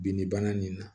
Binni bana nin na